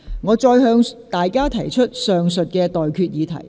我現在向各位提出上述待決議題。